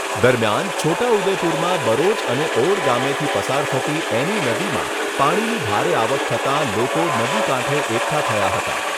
દરમિયાન છોટા ઉદેપુરમાં બરોજ અને ઓડ ગામેથી પસાર થતી એની નદીમાં પાણીની ભારે આવક થતાં લોકો નદી કાંઠે એકઠા થયા હતા.